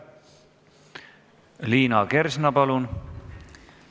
Liina Kersna, palun!